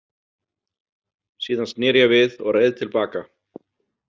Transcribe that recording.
Síðan sneri ég við og reið til baka.